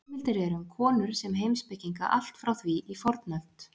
Heimildir eru um konur sem heimspekinga allt frá því í fornöld.